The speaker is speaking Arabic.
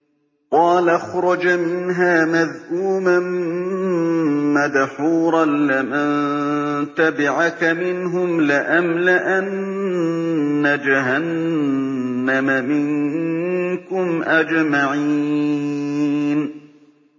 قَالَ اخْرُجْ مِنْهَا مَذْءُومًا مَّدْحُورًا ۖ لَّمَن تَبِعَكَ مِنْهُمْ لَأَمْلَأَنَّ جَهَنَّمَ مِنكُمْ أَجْمَعِينَ